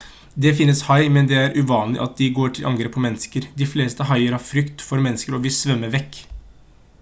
det finnes hai men det er uvanlig at de går til angrep på mennesker de fleste haier har frykt for mennesker og vil svømme vekk